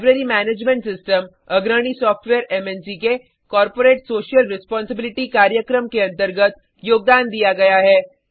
library management system अग्रणी software मन्क के कॉर्पोरेट सोशल रेस्पोंसिबिलिटी कार्यक्रम के अंतर्गत योगदान दिया गया है